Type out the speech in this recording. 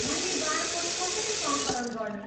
मैले बारकोड कसरी सङ्कलन गर्ने?